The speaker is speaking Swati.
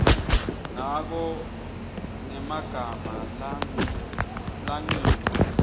ngako ngemagama langengci